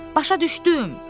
Başa düşdüm.